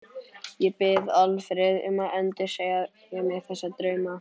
Ég bið Alfreð um að endursegja mér þessa drauma.